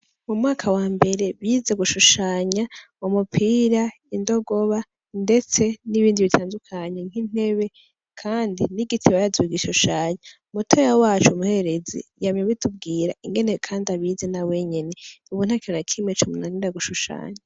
Mu mwaka wambere bize gushushanya umupira, indogoba ndetse n'ibindi bitandukanye nk'intebe kandi n'igiti barazi kugishushanya, mutoya wacu umuhererezi yamye abitubwira ingene kandi abizi nawenyene, ubu ntakintu nakimwe comunanira gushushanya.